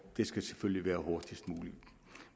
det skal selvfølgelig være hurtigst muligt